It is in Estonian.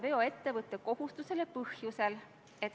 Minu teada on õige, et kuni 10.